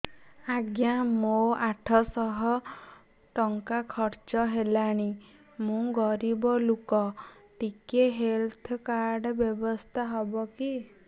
ଆଜ୍ଞା ମୋ ଆଠ ସହ ଟଙ୍କା ଖର୍ଚ୍ଚ ହେଲାଣି ମୁଁ ଗରିବ ଲୁକ ଟିକେ ହେଲ୍ଥ କାର୍ଡ ବ୍ୟବସ୍ଥା ହବ କି